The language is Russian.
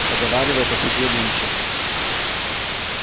поговаривают о суде линча